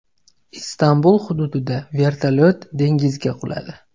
Istanbul hududida vertolyot dengizga quladi.